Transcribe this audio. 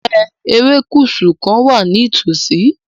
Ǹjẹ́ erékùṣù kan wà ní ìtòsí?